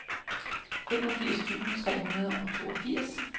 femogfirs tusind tre hundrede og toogfirs